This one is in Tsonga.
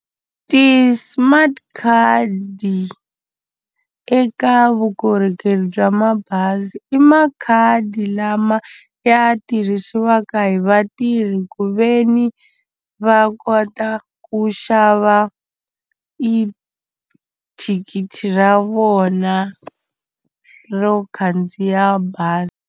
Ti-smart card eka vukorhokeri bya mabazi i makhadi lama ya tirhisiwaka hi vatirhi hi ku ve ni va kota ku xava i thikithi ra vona ro khandziya bazi.